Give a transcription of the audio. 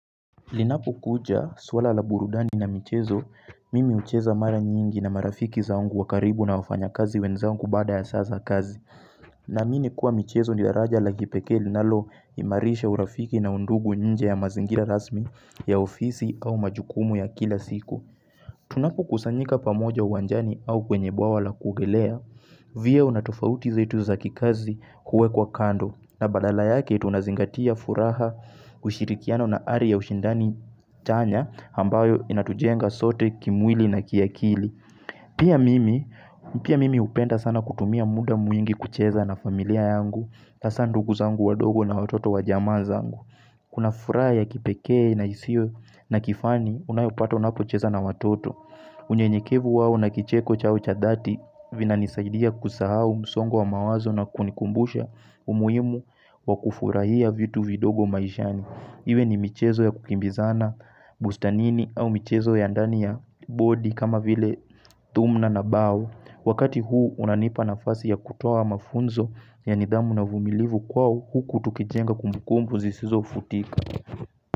Linapo kuja swala la burudani na michezo, mimi hucheza mara nyingi na marafiki zangu wa karibu na wafanya kazi wenzangu baada ya saa za kazi. Naamini kuwa michezo ni daraja la kipeke linalo imarisha urafiki na undugu nje ya mazingira rasmi ya ofisi au majukumu ya kila siku. Tunapo kusanyika pamoja uwanjani au kwenye bwawa la kuogelea, vyeo na tofauti zetu za kikazi huwekwa kando. Na badala yake tunazingatia furaha ushirikiano na hali ya ushindani chanya ambayo inatujenga sote kimwili na kiakili. Pia mimi hupenda sana kutumia muda mwingi kucheza na familia yangu, hadaa ndugu zangu wadogo na watoto wajama zangu. Kuna furaha ya kipeke na hisio na kifani unayopata unapo cheza na watoto. Unyenyekevu wao na kicheko chao cha dhati vinanisaidia kusahao msongo wa mawazo na kunikumbusha umuhimu wa kufurahia vitu vidogo maishani. Iwe ni michezo ya kukimbizana bustanini au michezo ya ndani ya bodi kama vile thumna na bao Wakati huu unanipa nafasi ya kutoa mafunzo ya nidhamu na uvumilivu kwao huku tukijenga kumbukumbu zisizo futika.